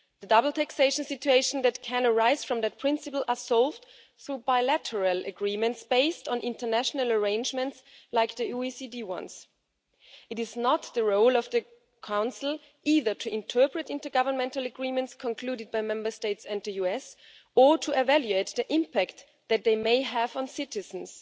The double taxation situations which can arise from that principle are solved through bilateral agreements based on international arrangements such as the OECD ones. It is not the role of the Council either to interpret intergovernmental agreements concluded by Member States and the US, or to evaluate the impact that they may have on citizens.